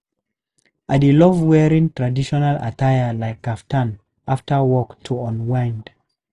I dey love wearing traditional attire like kaftan after work to unwind.